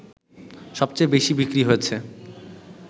সবচেয়ে বেশি বিক্রি হয়েছে